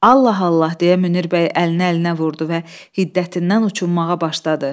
Allah Allah! deyə Münir bəy əlini əlinə vurdu və hiddətindən uçunmağa başladı.